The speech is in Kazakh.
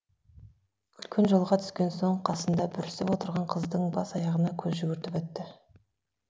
үлкен жолға түскен соң қасында бүрісіп отырған қыздың бас аяғына көз жүгіртіп өтті